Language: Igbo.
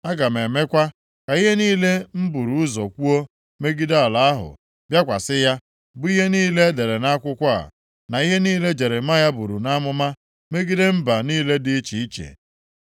Aga m emekwa ka ihe niile m buru ụzọ kwuo megide ala ahụ bịakwasị ya, bụ ihe niile e dere nʼakwụkwọ a, na ihe niile Jeremaya buru nʼamụma megide mba niile dị iche iche.